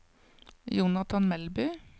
Jonathan Melby